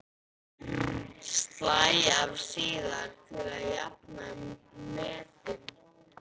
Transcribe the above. Slæ af síðar til að jafna metin.